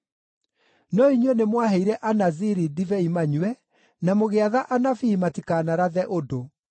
“No inyuĩ nĩmwaheire Anaziri ndibei manyue, na mũgĩatha anabii matikanarathe ũndũ.